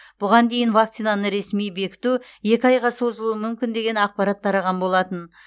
бұған дейін вакцинаны ресми бекіту екі айға созылуы мүмкін деген ақпарат тараған болатын